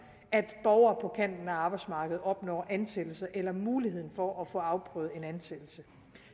at borgere på kanten af arbejdsmarkedet opnår ansættelse eller muligheden for at få afprøvet en ansættelse